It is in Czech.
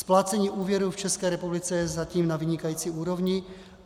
Splácení úvěru v České republice je zatím na vynikající úrovni.